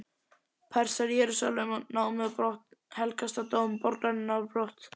Persar Jerúsalem og námu þennan helgasta dóm borgarinnar á brott.